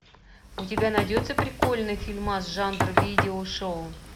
у тебя найдется прикольный фильмас жанр видео шоу